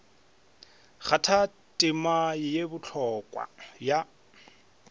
kgatha tema ye bohlokwa ya